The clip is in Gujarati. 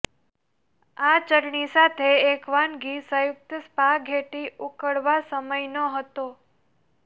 આ ચટણી સાથે એક વાનગી સંયુક્ત સ્પાઘેટ્ટી ઉકળવા સમય નહોતો